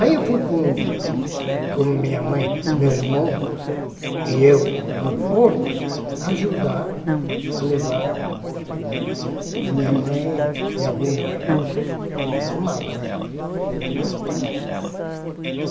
Aí eu fui com com minha mãe, meu irmão e eu no porto ajudar a levar a minha mãe e algumas malas.